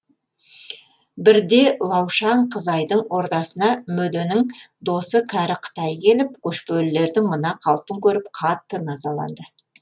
бірде лаушаң қызайдың ордасына мөденің досы кәрі қытай келіп көшпелілердің мына қалпын көріп қатты назаланды